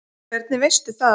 Hvernig veistu það?